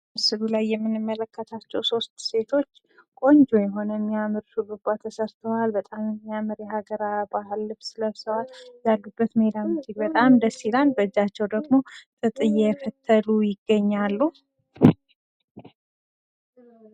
ምስሉ ላይ የምመለከታቸው ቆንጆ ሴቶች የሆኑ የሚያምር ሹርባ ተሰርተዋል። በጣም የሚያምር የሀገር ባህል ልብስ ለብሰዋል። ያሉበት ሜዳም እጅግ በጣም ደስ ይላል። በእጃቸው ደግሞ ጥጥ እየፈተሉ ይገኛሉ።